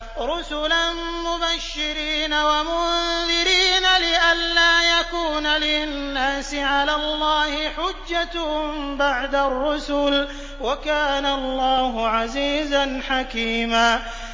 رُّسُلًا مُّبَشِّرِينَ وَمُنذِرِينَ لِئَلَّا يَكُونَ لِلنَّاسِ عَلَى اللَّهِ حُجَّةٌ بَعْدَ الرُّسُلِ ۚ وَكَانَ اللَّهُ عَزِيزًا حَكِيمًا